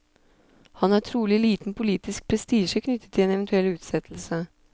Han har trolig liten politisk prestisje knyttet til en eventuell utsettelse.